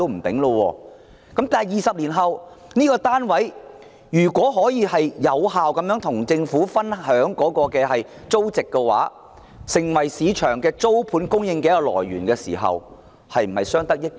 不過，在20年後，業主如果能有效地與政府分享租金收入，令有關單位成為市場上租盤的供應來源，是否相得益彰？